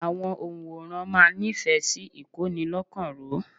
Àwọn ọ̀ǹwòran máa nífẹ̀ẹ́ sí ìkónilọ́kan-ró.